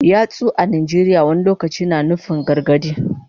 Yatsu a Najeriya wani lokaci na iya nufin gargadi.